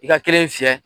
I ka kelen fiyɛ